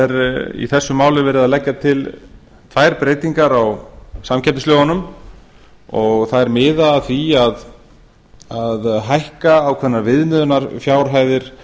í þessu máli er verið að leggja til tvær breytingar á samkeppnislögunum þær miða að því að hækka ákveðnar